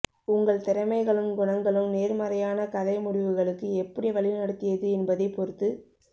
உங்கள் திறமைகளும் குணங்களும் நேர்மறையான கதை முடிவுகளுக்கு எப்படி வழிநடத்தியது என்பதைப் பொறுத்து